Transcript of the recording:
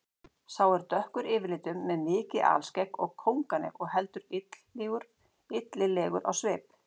Sá er dökkur yfirlitum með mikið alskegg og kónganef og heldur illilegur á svip.